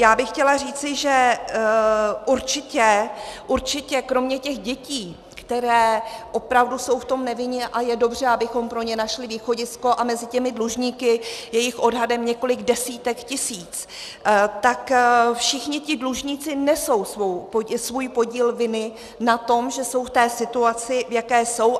Já bych chtěla říci, že určitě kromě těch dětí, které opravdu jsou v tom nevinně, a je dobře, abychom pro ně našli východisko, a mezi těmi dlužníky je jich odhadem několik desítek tisíc, tak všichni ti dlužníci nesou svůj podíl viny na tom, že jsou v té situaci, v jaké jsou.